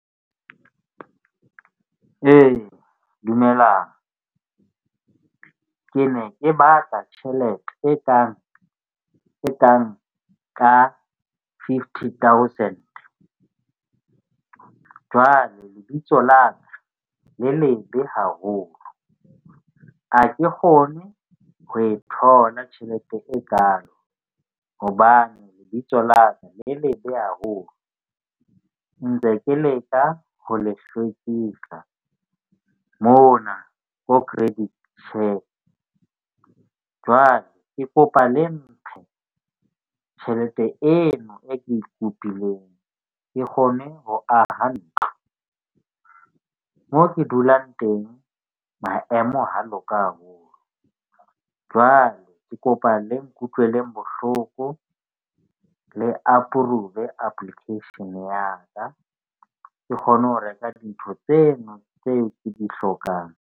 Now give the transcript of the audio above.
Dumelang, ke ne ke batla tjhelete e kang ka fifty thousand. Jwale lebitso la ka le lebe haholo ha ke kgone ho e thola tjhelete e kaalo. Hobane lebitso la ka le lebe haholo ntse ke leka ho le hlwekisa mona ko credit . Jwale ke kopa le mphe tjhelete eno e ke e kopileng. Ke kgone ho aha ntlo mo ke dulang teng maemo ha loka haholo. Jwale ke kopa le nkutlwele bohloko le approve application-e ya ka. Ke kgone ho reka dintho tsena tse ke di hlokang.